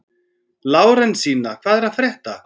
Lárensína, hvað er að frétta?